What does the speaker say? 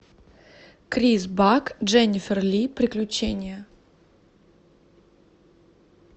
крис бак дженнифер ли приключения